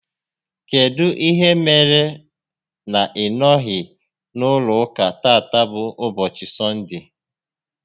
Kedụ ihe mere na ị nọghị n'ụlọ ụka tata bụ ụbọchị Sọnde?